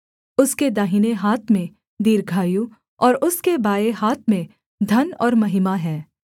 उसके दाहिने हाथ में दीर्घायु और उसके बाएँ हाथ में धन और महिमा हैं